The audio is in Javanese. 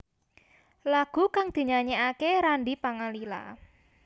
Lagu kang dinyanyékaké Randy Pangalila